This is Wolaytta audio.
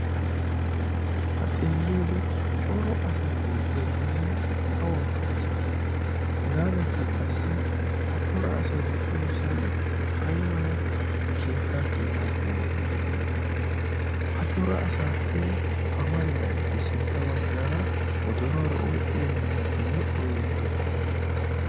ha xeelli oode coro asai beettiyo sohui awa malati hegaadankka qassi ha cora asai de'iyoosan ai mala keettaa keettaa qommoti de'iyoona. ha cora asaappe amaridaageti sintta baggaara wodoruwaara oyqphido miizati modhdho yeggidokkona